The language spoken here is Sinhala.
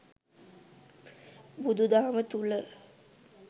බුදු දහම තුළ